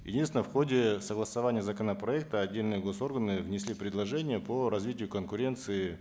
единственное в ходе согласования законопроекта отдельные гос органы внесли предложения по развитию конкуренции